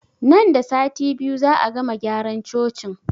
Nan da sati biyu za'a gama gyara cocin